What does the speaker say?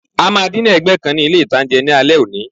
A máa ní dínà ẹ̀gbẹ́ kan ní ilé-ìtánjẹ ní alé òní